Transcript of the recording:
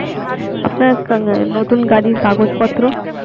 আপনার নতুন গাড়ির কাগজপত্র.